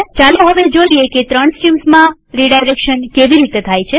ચાલો હવે જોઈએ કે ત્રણ સ્ટ્રીમ્સમાં રીડાયરેક્શન કેવી રીતે થાય છે